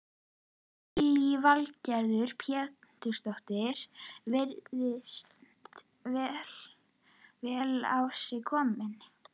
Lillý Valgerður Pétursdóttir: Virðist vera vel á sig kominn?